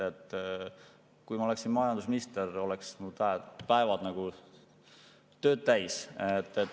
Kui ma oleksin majandusminister, oleks mu päevad tööd täis.